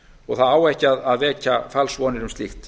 og það á ekki að vekja falsvonir um slíkt